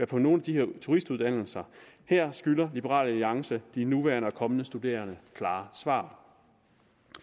på nogle af de her turistuddannelser her skylder liberal alliance de nuværende og kommende studerende klare svar